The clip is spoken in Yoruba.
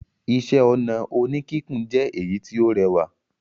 Iṣẹ́-ọnà oníkíkùn jẹ èyí tí ó rẹwà.